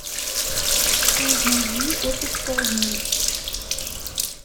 найди отпуск по обмену